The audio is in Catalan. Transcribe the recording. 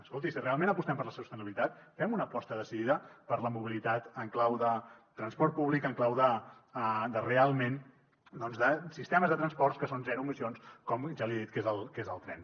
escolti si realment apostem per la sostenibilitat fem una aposta decidida per la mobilitat en clau de transport públic en clau realment de sistemes de transports que són zero emissions com ja li he dit que és el tren